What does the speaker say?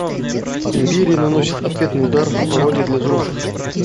империя наносит ответный удар пародия для взрослых